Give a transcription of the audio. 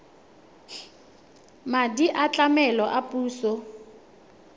madi a tlamelo a puso